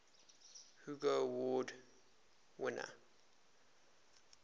hugo award winner